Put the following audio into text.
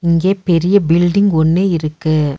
இங்கே பெரிய பில்டிங் ஒன்னு இருக்கு.